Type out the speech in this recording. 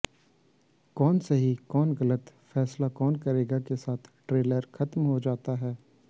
कौन सही कौन गलत फैसला कौन करेगा के साथ ट्रेलर खत्म हो जाता है